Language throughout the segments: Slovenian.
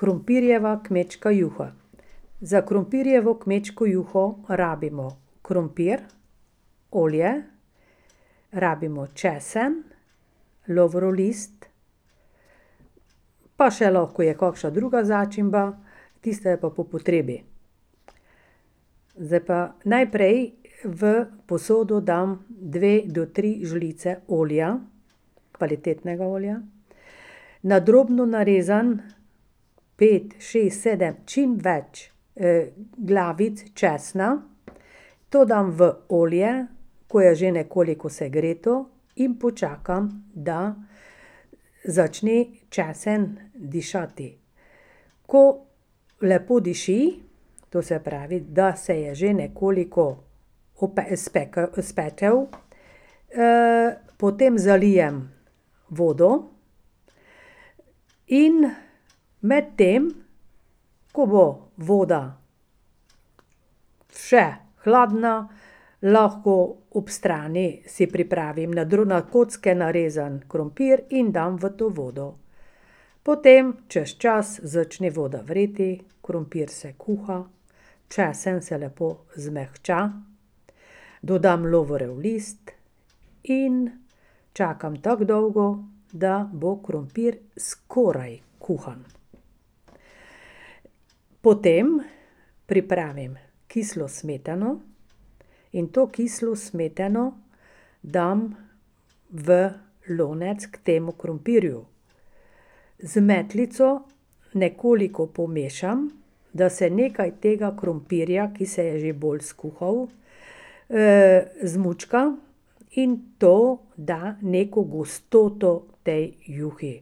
Krompirjeva kmečka juha. Za krompirjevo kmečko juho rabimo krompir, olje, rabimo česen, lovorov list, pa še lahko je kakšna druga začimba, tista je pa po potrebi. Zdaj pa najprej v posodo dam dve do tri žlice olja, kvalitetnega olja, na drobno narezan pet, šest, sedem, čim več glavic česna, to dam v olje, ko je že nekoliko segreto, in počakam, da začne česen dišati. Ko lepo diši, to se pravi, da se je že nekoliko spekel, potem zalijem vodo in medtem, ko bo voda še hladna, lahko ob strani si pripravim na na kocke narezan krompir in dam v to vodo. Potem, čez čas, začne voda vreti, krompir se kuha, česen se lepo zmehča, dodam lovorjev list in čakam tako dolgo, da bo krompir skoraj kuhan. Potem pripravim kislo smetano in to kislo smetano dam v lonec k temu krompirju. Z metlico nekoliko pomešam, da se nekaj tega krompirja, ki se je že bolj skuhal, zmučka, in to da neko gostoto tej juhi.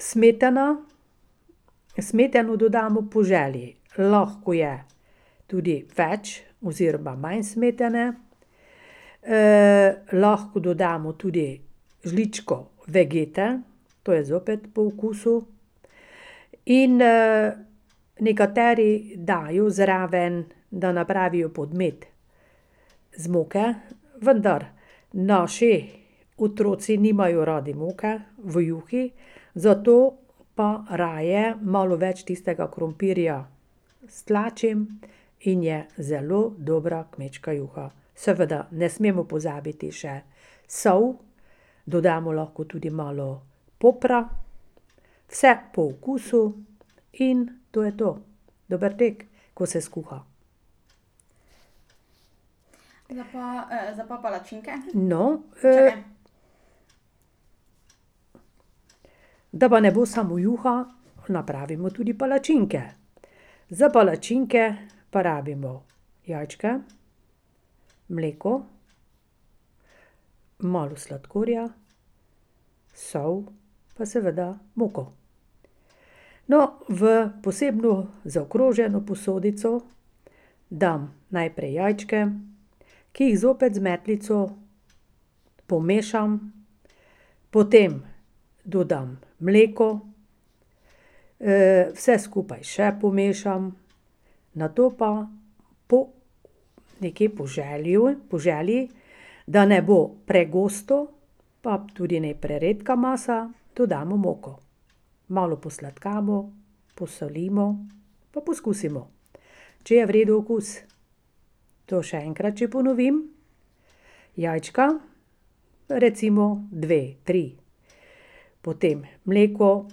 smetana, smetano dodamo po želji. Lahko je tudi več oziroma manj smetane, lahko dodamo tudi žličko vegete, to je zopet po okusu, in nekateri dajo zraven, da napravijo podmet z moke, vendar naši otroci nimajo radi moke v juhi, zato pa raje malo več tistega krompirja stlačim in je zelo dobra kmečka juha. Seveda, ne smemo pozabiti še sol, dodamo lahko tudi malo popra, vse po okusu, in to je to. Dober tek, ko se skuha. No, da pa ne bo samo juha, napravimo tudi palačinke. Za palačinke pa rabimo jajčke, mleko, malo sladkorja, sol pa seveda moko. No, v posebno zaokroženo posodico dam najprej jajčke, ki jih zopet z metlico pomešam ... Potem dodam mleko, vse skupaj še pomešam, nato pa po nekje po želju, po želji, da ne bo pregosto, pa tudi ne preredka masa, dodamo moko. Malo posladkamo, posolimo pa poskusimo, če je v redu okus. To še enkrat že ponovim, jajčka, recimo dve, tri, potem mleko,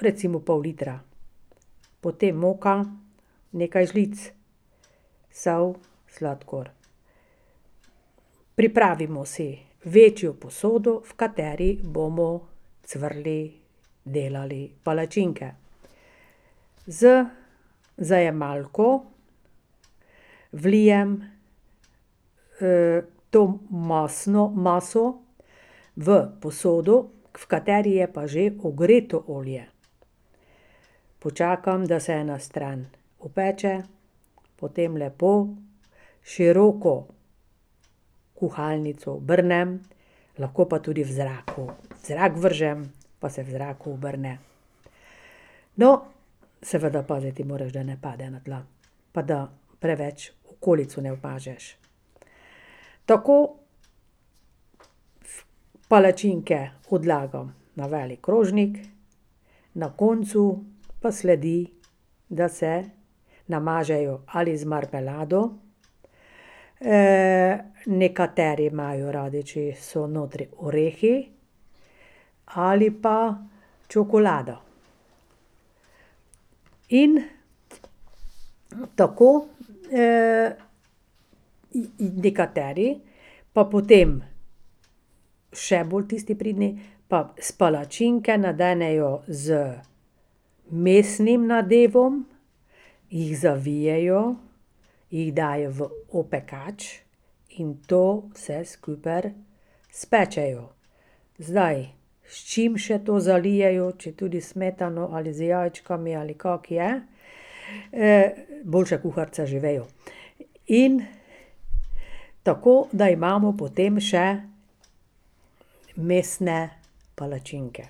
recimo pol litra, potem moka, nekaj žlic, sol, sladkor. Pripravimo si večjo posodo, v kateri bomo cvrli, delali palačinke. Z zajemalko vlijem to masno, maso, v posodo, v kateri je pa že ogreto olje. Počakam, da se ena stran opeče, potem lepo, s široko kuhalnico obrnem, lahko pa tudi v zraku. V zrak vržem, pa se v zraku obrne. No, seveda paziti moraš, da ne pade na tla pa da preveč okolico ne umažeš. Tako palačinke odlagam na velik krožnik, na koncu pa sledi, da se namažejo ali z marmelado, nekateri imajo radi, če je, so notri, orehi ali pa čokolada. In tako, nekateri pa potem, še bolj tisti pridni, pa palačinke nadenejo z mesnim nadevom, jih zavijejo, jih dajo v opekač in to vse skupaj spečejo. Zdaj, s čim še to zalijejo, če tudi s smetano ali z jajčkami, ali kako je, boljše kuharice že vejo, in tako, da imamo potem še mesne palačinke.